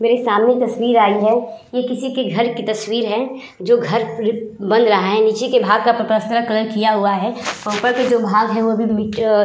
मेरे सामने एक तस्वीर आई है। यह किसी के घर की तस्वीर है जो घर बन रहा है। नीचे के भाग का प्लास्तर कलर किया हुआ है। ऊपर जो भाग है वोभी --